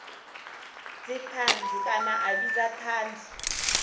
dzithanzi kana a vhidza thanzi